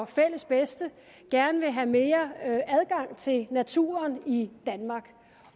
fælles bedste gerne vil have mere adgang til naturen i danmark